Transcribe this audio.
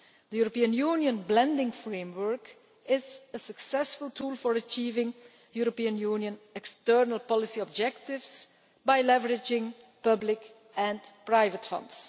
The European Union blending framework is a successful tool for achieving European Union external policy objectives by leveraging public and private funds.